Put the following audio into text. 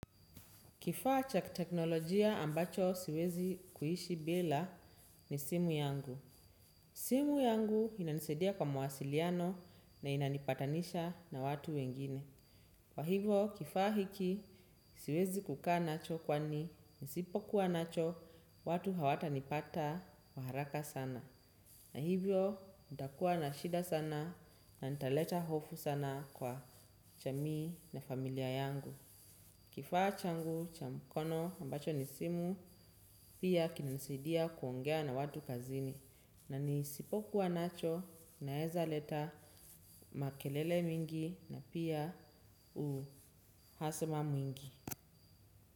Kifaa cha teknolojia ambacho siwezi kuishi bila ni simu yangu. Simu yangu inanisaidia kwa mwasiliano na inanipatanisha na watu wengine. Kwa hivo kifaa hiki siwezi kukaa nacho kwani nisipokuwa nacho watu hawatanipata kwa haraka sana. Na hivyo nitakuwa na shida sana na nitaleta hofu sana kwa jamii na familia yangu. Kifaa changu cha mkono ambacho ni simu pia kinanisaidia kuongea na watu kazini na nisipokuwa nacho naezaleta makelele mingi na pia uhasema mwingi.